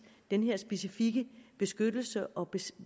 den her specifikke beskyttelse og